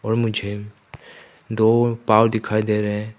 और मुझे दो पांव दिखाई दे रहे है।